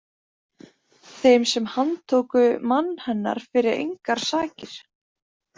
Þeim sem handtóku mann hennar fyrir engar sakir!